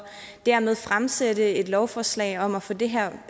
dermed fremsætte et lovforslag om at få det her